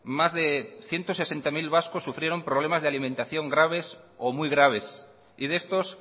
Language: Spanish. más de ciento sesenta mil vascos sufrieron problemas de alimentación graves o muy graves y de estos